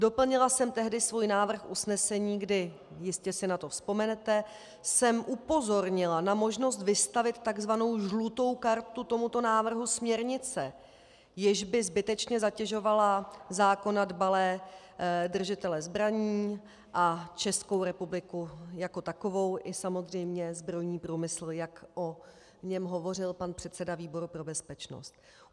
Doplnila jsem tehdy svůj návrh usnesení, kdy - jistě si na to vzpomenete - jsem upozornila na možnost vystavit tzv. žlutou kartu tomuto návrhu směrnice, jež by zbytečně zatěžovala zákona dbalé držitele zbraní a Českou republiku jako takovou i samozřejmě zbrojní průmysl, jak o něm hovořil pan předseda výboru pro bezpečnost.